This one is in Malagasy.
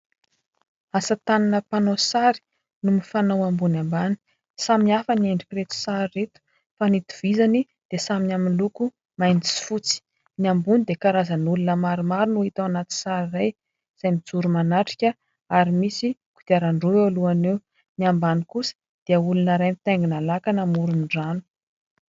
Asa tànana mpanao sary no mifanao ambony ambany. Samy hafa ny endrik'ireto sary ireto fa ny itovizany dia samy amin'ny loko mainty sy fotsy. Ny ambony dia karazan'olona maromaro no hita ao anaty sary iray izay mijoro manatrika ary misy kodiaran-droa eo alohany eo. Ny ambany kosa dia olona iray mitaingina làkana amoron-drano.